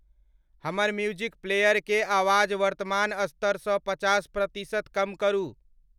हमर music player के आवाज़ वर्तमान स्तर स् पचास प्रतिशत कम करु